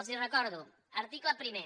els el recordo article primer